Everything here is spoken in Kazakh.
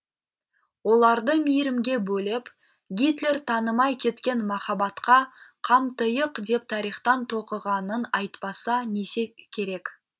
оларды мейрімге бөлеп гитлер танымай кеткен махаббатқа қамтыйық деп тарихтан тоқығанын айтпаса несі керек